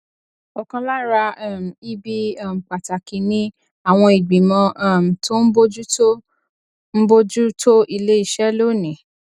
ọkan lára um ibi um pàtàkì ni àwọn ìgbìmọ um tó ń bójú tó ń bójú tó iléeṣẹ lónìí